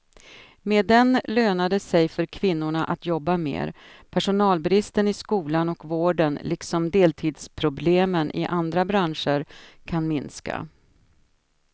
Med den lönar det sig för kvinnorna att jobba mer, personalbristen i skolan och vården liksom deltidsproblemen i andra branscher kan minska.